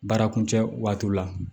Baara kuncɛ waati la